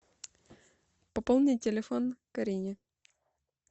пополни телефон карине